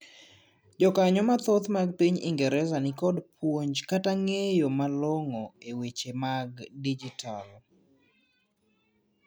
jokanyoo mathoth mag piny ingereza nikod puonj kata ng'eyo malong'o e weche mag dijital